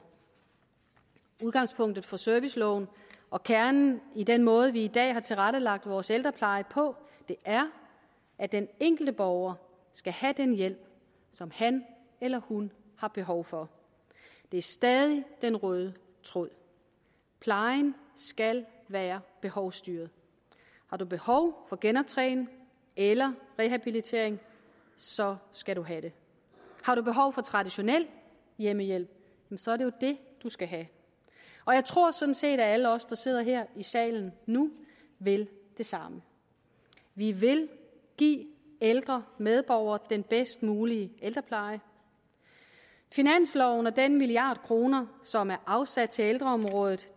udgangspunktet for serviceloven og kernen i den måde vi i dag har tilrettelagt vores ældrepleje på er at den enkelte borger skal have den hjælp som han eller hun har behov for det er stadig den røde tråd plejen skal være behovsstyret har du behov for genoptræning eller rehabilitering så skal du have det har du behov for traditionel hjemmehjælp så er det jo det du skal have og jeg tror sådan set at alle os der sidder her i salen nu vil det samme vi vil give ældre medborgere den bedst mulige ældrepleje finansloven og den milliard kroner som er afsat til ældreområdet